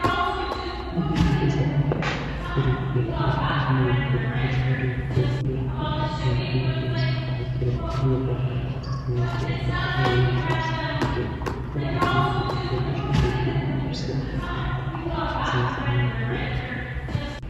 Biiffisa, mittoricho la'nooniricho bushinoricho la'ne ka'ne biiffinseemmoha ikkiro biiffisomma yaate, bushinore la'ne biiffisa hasiisanonke